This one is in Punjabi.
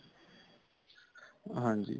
ਹਾਂਜੀ